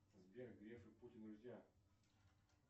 сбер греф и путин друзья